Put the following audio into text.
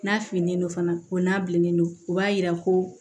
N'a finen don fana o n'a bilennen don o b'a yira ko